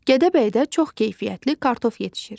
Gədəbəydə çox keyfiyyətli kartof yetişir.